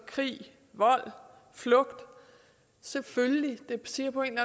krig vold flugt selvfølgelig det siger på en